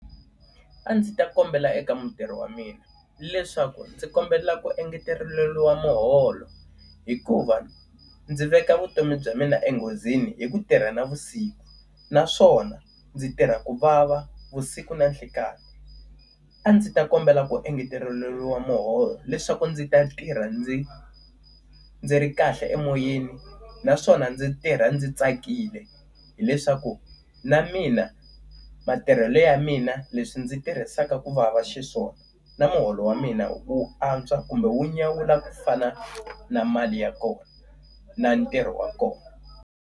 A ndzi ta kombela eka mutirhi wa mina leswaku ndzi kombela ku engeteriwa muholo hikuva ndzi veka vutomi bya mina enghozini hi ku tirha navusiku, naswona ndzi tirha ku vava vusiku na nhlikani. A ndzi ta kombela ku engeteriwa muholo leswaku ndzi ta tirha ndzi ndzi ri kahle emoyeni naswona ndzi tirha ndzi tsakile. Hileswaku na mina matirhelo ya mina leswi ndzi tirhisaka ku vava xiswona, na muholo wa mina wu antswa kumbe wu nyawula ku fana na mali ya kona, na ntirho wa kona.